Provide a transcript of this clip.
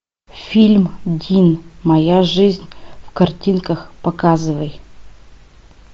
фильм дин моя жизнь в картинках показывай